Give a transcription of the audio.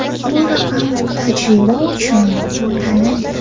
Bu raqam tajriba uchun tanlangan.